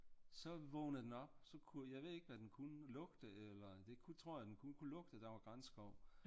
Så vågnede den op jeg ved ikke hvad den kunne lugte eller det tror jeg den kunne lugte der var granskov